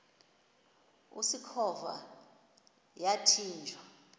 usikhova yathinjw a